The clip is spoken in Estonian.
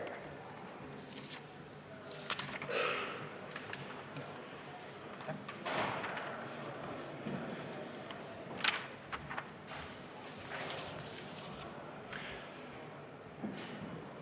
Aitäh!